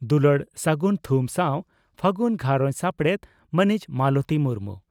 ᱫᱩᱞᱟᱹᱲ ᱥᱟᱹᱜᱩᱱ ᱛᱷᱩᱢ ᱥᱟᱣ ᱾ᱯᱷᱟᱹᱜᱩᱱ ᱜᱷᱟᱨᱚᱸᱡᱽ ᱥᱟᱯᱲᱮᱛ ᱺ ᱢᱟᱹᱱᱤᱡ ᱢᱟᱞᱚᱛᱤ ᱢᱩᱨᱢᱩ